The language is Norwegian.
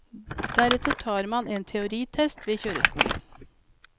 Deretter tar man en teoritest ved kjøreskolen.